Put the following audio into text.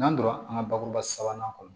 N'an donna an ka bakuruba sabanan kɔnɔ